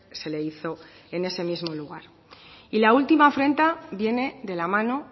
se le hizo en ese mismo lugar y la última afrenta viene de la mano